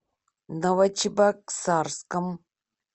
новочебоксарском